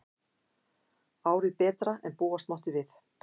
Árið betra en búast mátti við